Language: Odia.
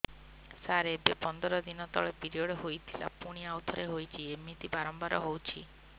ସାର ଏବେ ପନ୍ଦର ଦିନ ତଳେ ପିରିଅଡ଼ ହୋଇଥିଲା ପୁଣି ଆଉଥରେ ହୋଇଛି ଏମିତି ବାରମ୍ବାର ହଉଛି